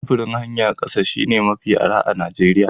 Sufurin hanyar ƙasa shine mafi arha a Najeriya.